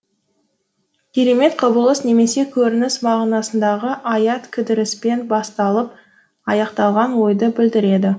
керемет құбылыс немесе көрініс мағынасындағы аят кідіріспен басталып аяқталған ойды білдіреді